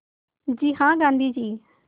जी हाँ गाँधी जी